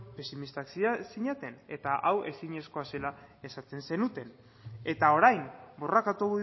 pesimistak zineten eta hau ezinezkoa zela esaten zenuten eta orain borrokatu